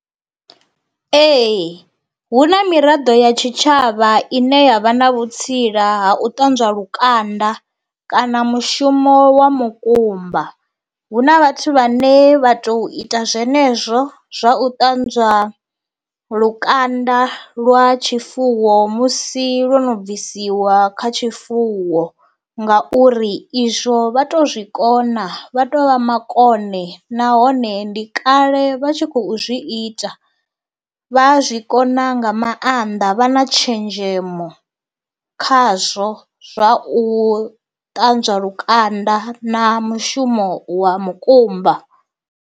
Ee hu na miraḓo ya tshitshavha ine yavha na vhutsila ha u ṱanzwa lukanda kana mushumo wa mukumba, hu na vhathu vhane vha to ita zwenezwo zwa u ṱanzwa lukanda lwa tshifuwo musi lwo no bvisiwa kha tshifuwo ngauri izwo vha to zwikona vha to vha makone nahone ndi kale vha tshi khou u zwi ita vha a zwi kona nga maanḓa vha na tshenzhemo khazwo zwa u ṱanzwa lukanda na mushumo wa mukumba.